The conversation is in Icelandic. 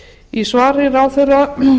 í svari ráðherra